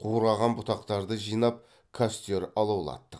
қураған бұтақтарды жинап костер алаулаттық